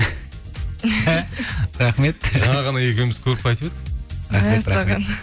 рахмет жаңа ғана екеуміз көріп қайтып едік